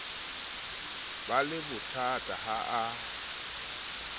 ba le bothata ha a